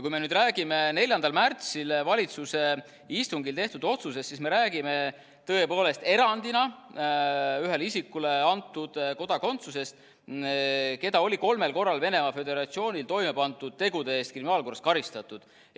Kui me nüüd räägime 4. märtsil valitsuse istungil tehtud otsusest, siis me räägime tõepoolest erandina ühele isikule antud kodakondsusest, keda oli kolmel korral Venemaa Föderatsioonis toime pandud tegude eest kriminaalkorras karistatud.